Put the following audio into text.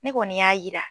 Ne kɔni y'a jira